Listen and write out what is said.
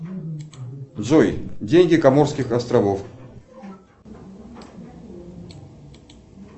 джой деньги коморских островов